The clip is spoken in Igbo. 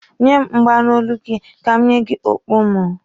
Nye m mgba n'olu gị ka m nye gị okpu mụ.